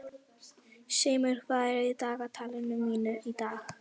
Seimur, hvað er í dagatalinu mínu í dag?